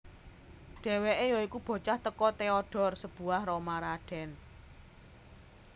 Déwéké yoiku bocah tèko Theodore sebuah Roma raden